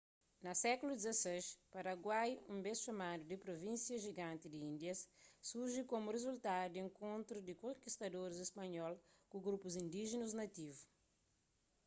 na sékulu xvi paraguai un bês txomadu di pruvínsia jiganti di índias surji komu rizultadu di enkontru di konkistadoris spanhol ku grupus indíjinus nativu